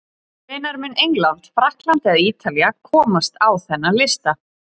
Hvenær mun England, Frakkland eða Ítalía komast á þennan lista?